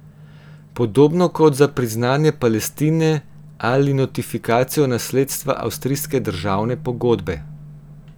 Podobno kot za priznanje Palestine ali notifikacijo nasledstva Avstrijske državne pogodbe.